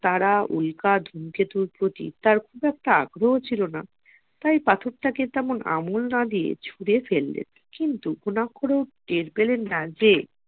তারা উল্কা ধুমকেতুর প্রতি তার খুব একটা আগ্রহ ছিল না তাই পাথরটাকে তেমন আমল না দিয়ে ছুড়ে ফেললেন কিন্তু গুনাখরেও করে ও টের পেলেন না যে